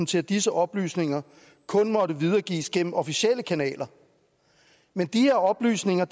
til at disse oplysninger kun måtte videregives gennem officielle kanaler men de her oplysninger